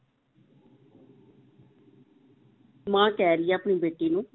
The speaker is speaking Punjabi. ਮਾਂ ਕਹਿ ਰਹੀ ਹੈ ਆਪਣੀ ਬੇਟੀ ਨੂੰ।